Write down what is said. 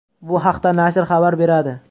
Bu haqda nashr xabar beradi.